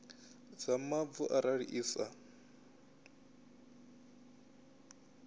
dza mavu arali i sa